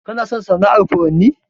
Kana son sana'ar furanni?